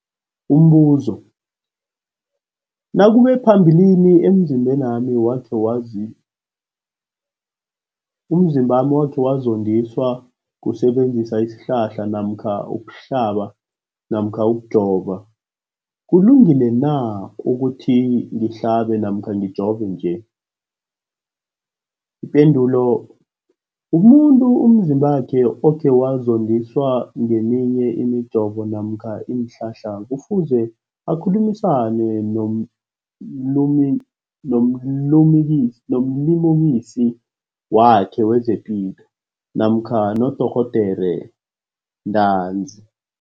Umbuzo, nakube phambilini umzimbami wakhe wazondiswa kusebenzisa isihlahla namkha ukuhlaba namkha ukujova, kulungile na ukuthi ngihlabe namkha ngijove nje? Ipendulo, umuntu umzimbakhe okhe wazondiswa ngeminye imijovo namkha iinhlahla kufuze akhulumisane nomlimukisi wakhe wezepilo namkha nodorhoderakhe ntanzi.